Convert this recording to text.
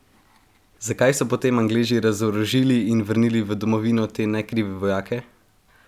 Zakaj so potem Angleži razorožili in vrnili v domovino te nekrive vojake?